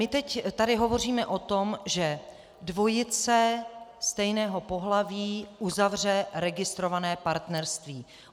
My teď tady hovoříme o tom, že dvojice stejného pohlaví uzavře registrované partnerství.